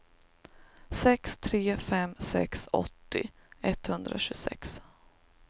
sex tre fem sex åttio etthundratjugosex